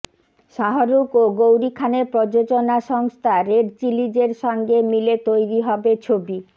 শাহরুখ ও গৌরি খানের প্রযোজনা সংস্থা রেড চিলিজের সঙ্গে মিলে তৈরি হবে ছবি